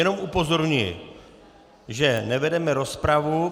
Jenom upozorňuji, že nevedeme rozpravu.